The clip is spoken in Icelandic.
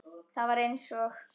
Það var eins og